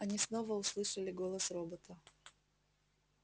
они снова услышали голос робота